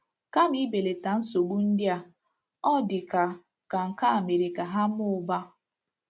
Kama ibelata nsogbu ndị a, ọ dị ka ka nke a e mere ka ha mụbaa. ”